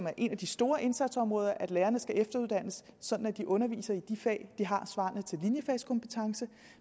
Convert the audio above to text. er et af de store indsatsområder at lærerne skal efteruddannes sådan at de underviser i de fag de har svarende til linjefagskompetence